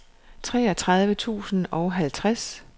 treogtredive tusind og halvtreds